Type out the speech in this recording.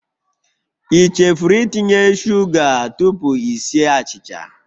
I chefuru itinye sugar tupu i sie achịcha?